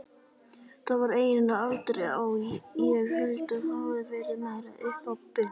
Það var eiginlega aldrei á, ég held það hafi verið meira upp á punt.